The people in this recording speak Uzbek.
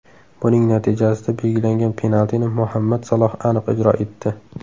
Buning natijasida belgilangan penaltini Muhammad Saloh aniq ijro etdi.